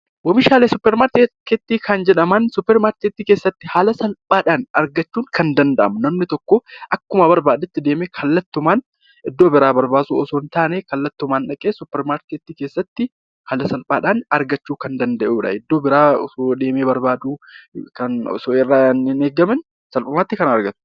Oomishaalee suuparmaarketii kan jedhaman suuparmaarketii keessatti haala salphaadhaan argachuun kan dandahamu namni tokko akkuma barbaadetti kallattumaan iddoo biraa barbaaduu osoo hin taane kallattimaan dhaqee suuparmaarketii keessatti haala salphaadhaan argachuu kan danda'udha. Iddoo biraa osoo deemee barbaaduu kan osoo irraa hin eegamiin salphumatti kan argatudha.